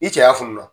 I cɛya fununa